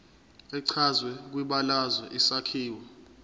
echazwe kwibalazwe isakhiwo